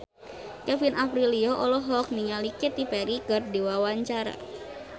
Kevin Aprilio olohok ningali Katy Perry keur diwawancara